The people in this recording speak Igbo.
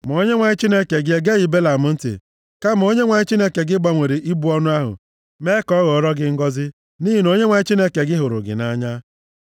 Ma Onyenwe anyị Chineke gị egeghị Belam ntị, kama Onyenwe anyị Chineke gị gbanwere ịbụ ọnụ ahụ mee ka ọ ghọọrọ gị ngọzị, nʼihi na Onyenwe anyị Chineke gị hụrụ gị nʼanya.